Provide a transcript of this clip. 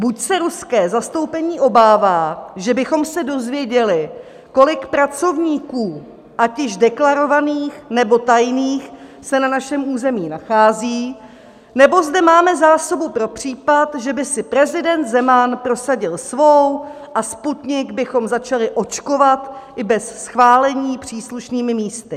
Buď se ruské zastoupení obává, že bychom se dozvěděli, kolik pracovníků, ať již deklarovaných, nebo tajných, se na našem území nachází, nebo zde máme zásobu pro případ, že by si prezident Zeman prosadil svou a Sputnik bychom začali očkovat i bez schválení příslušnými místy.